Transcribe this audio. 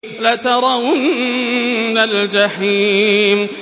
لَتَرَوُنَّ الْجَحِيمَ